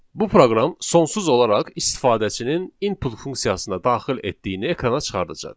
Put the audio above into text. Bu proqram sonsuz olaraq istifadəçinin input funksiyasına daxil etdiyini ekrana çıxardacaq.